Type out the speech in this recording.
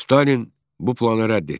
Stalin bu planı rədd etdi.